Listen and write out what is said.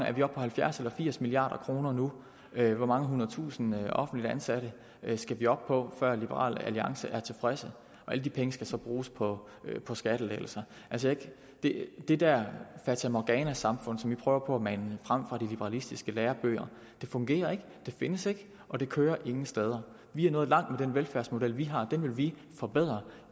er vi oppe på halvfjerds eller firs milliard kroner nu hvor mange hundredtusinde offentligt ansatte skal vi op på før liberal alliance er tilfredse og alle de penge skal så bruges på på skattelettelser det det der fatamorganasamfund som man prøver på at mane frem fra de liberalistiske lærebøger fungerer ikke det findes ikke og det kører ingen steder vi er nået langt med den velfærdsmodel vi har den vil vi forbedre